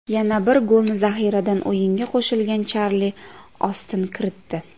Yana bir golni zaxiradan o‘yinga qo‘shilgan Charli Ostin kiritdi.